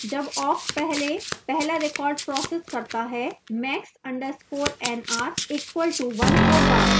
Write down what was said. जब awk पहले पहला record processing करता है max _ nr equal to 1 होगा